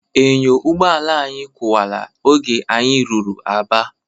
Enyo ụgbọala anyị kụwala oge anyị ruru Aba.